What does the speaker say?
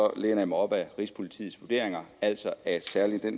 kan læne mig op ad rigspolitiets vurderinger altså at særlig det